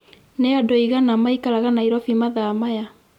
nĩ andũ aĩgana maĩkaraga Nairobi mathaa maya